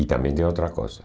E também tem outra coisa.